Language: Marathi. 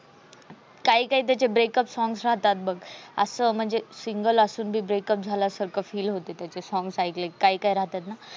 काही काही त्याचे breakup songs राहतात बघ असं म्हणजे single असून बी breakeup झाल्या सारखं फील होते. songs एकले काही काही राहतात ना.